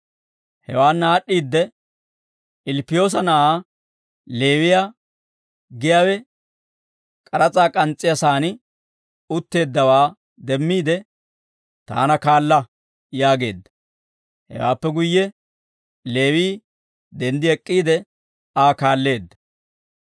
Hewaanna aad'd'iidde, Ilppiyoosa na'aa Leewiyaa, giyaawe k'aras'aa k'ans's'iyaa saan utteeddawaa demmiide, «Taana kaala» yaageedda. Hewaappe guyye Leewii denddi ek'k'iide, Aa kaalleedda.